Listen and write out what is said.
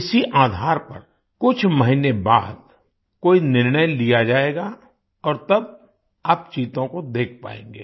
इसी आधार पर कुछ महीने बाद कोई निर्णय लिया जाएगा और तब आप चीतों को देख पायेंगे